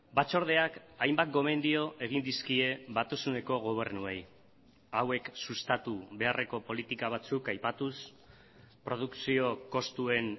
batzordeak hainbat gomendio egin dizkie batasuneko gobernuei hauek sustatu beharreko politika batzuk aipatuz produkzio kostuen